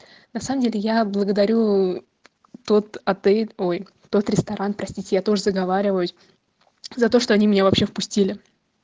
на самом деле я благодарю тот отель ой тот ресторан простите я тоже заговариваюсь за то что они мне вообще впустили